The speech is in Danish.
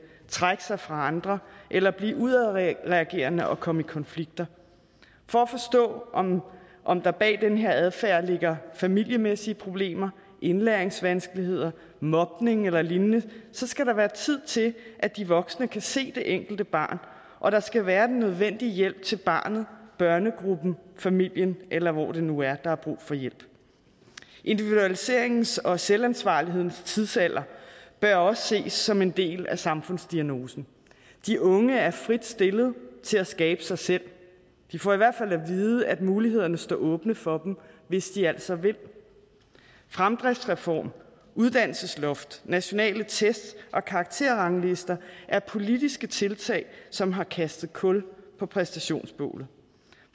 trække sig fra andre eller blive udadreagerende og komme i konflikter for at forstå om der bag den her adfærd ligger familiemæssige problemer indlæringsvanskeligheder mobning eller lignende skal der være tid til at de voksne kan se det enkelte barn og der skal være den nødvendige hjælp til barnet børnegruppen familien eller hvor det nu er der er brug for hjælp individualiseringens og selvansvarlighedens tidsalder bør også ses som en del af samfundsdiagnosen de unge er frit stillet til at skabe sig selv de får i hvert fald at vide at mulighederne stå åbne for dem hvis de altså vil fremdriftsreform uddannelsesloft nationale test og karakterranglister er politiske tiltag som har kastet kul på præstationsbålet